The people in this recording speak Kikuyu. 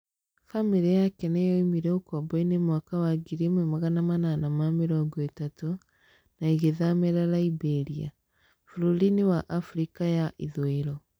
Famĩlĩ yake nĩ yoĩmire ũkombo-ĩnĩ mwaka wa 1830 na ĩgĩthamĩra Liberia. Bũrũri-inĩ wa Afrika ya Ithũĩro.